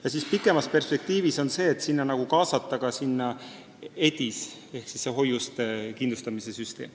Aga kaugemas perspektiivis soovitakse sinna kaasata ka EDIS ehk hoiuste kindlustamise süsteem.